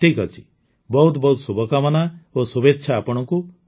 ଠିକ୍ ଅଛି ବହୁତ ବହୁତ ଶୁଭକାମନା ଓ ଶୁଭେଚ୍ଛା ଆପଣଙ୍କୁ